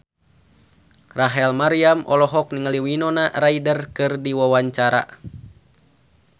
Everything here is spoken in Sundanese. Rachel Maryam olohok ningali Winona Ryder keur diwawancara